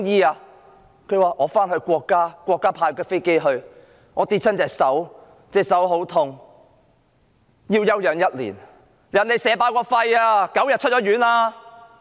她說要回到國家，國家派飛機接她去，她說跌傷了手，手很痛，要休養1年；別人被射爆肺 ，9 天也已出院了......